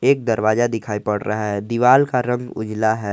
एक दरवाजा दिखाई पड़ रहा है दीवाल का रंग उजाला है।